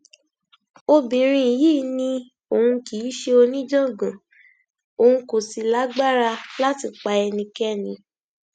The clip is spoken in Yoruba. obìnrin yìí ni òun kì í ṣe oníjàngbọn òun kò sì lágbára láti pa ẹnikẹni